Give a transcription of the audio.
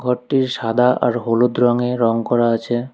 ঘরটি সাদা আর হলুদ রঙে রঙ করা আছে।